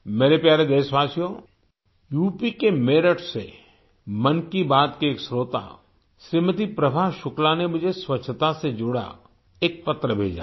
मेरे प्यारे देशवासियो यूपी के मेरठ से मन की बात की एक श्रोता श्रीमती प्रभा शुक्ला ने मुझे स्वच्छता से जुड़ा एक पत्र भेजा है